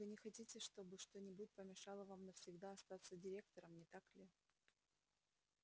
вы не хотите чтобы что-нибудь помешало вам навсегда остаться директором не так ли